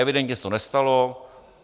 Evidentně se to nestalo.